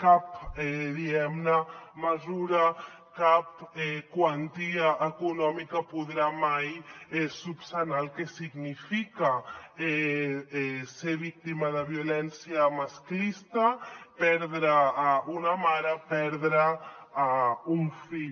cap diguem ne mesura cap quantia econòmica podrà mai reparar el que significa ser víctima de violència masclista perdre una mare perdre un fill